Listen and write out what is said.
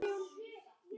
Þau eiga fjögur börn.